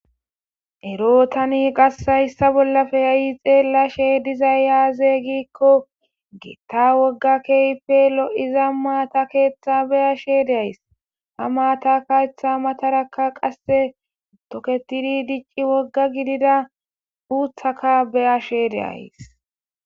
ero tani qase hayssa bollappe ha'i xeellashe dizay aze gikon gita wogga keype lo'iza maata keeththa beyashe de'ays ha maata keetha matarakka qasse toketidi dicci wogga gidida uuthaka beyashe de'ays